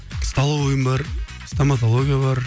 столовыйым бар стоматология бар